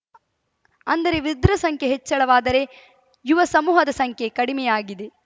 ಅಂದರೆ ವೃದ್ಧರ ಸಂಖ್ಯೆ ಹೆಚ್ಚಳವಾದರೆ ಯುವಸಮೂಹದ ಸಂಖ್ಯೆ ಕಡಿಮೆಯಾಗಿದೆ